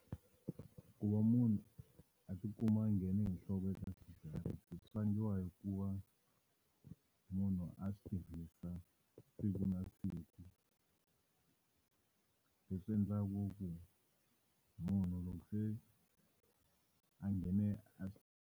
Ku va munhu a ti kuma a nghene hi nhloko eka swidzidziharisi swi vangiwa hi ku va munhu a swi tirhisa siku na siku. Leswi endlaku ku munhu loko se a nghene a .